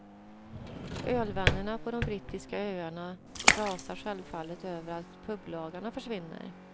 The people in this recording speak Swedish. Ölvännerna på de brittiska öarna rasar självfallet över att publagarna försvinner.